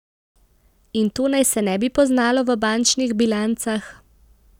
In to naj se ne bi poznalo v bančnih bilancah?